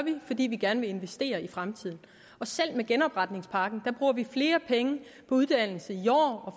fordi vi gerne vil investere i fremtiden selv med genopretningspakken bruger vi flere penge på uddannelse